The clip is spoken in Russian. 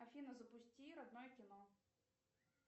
афина запусти родное кино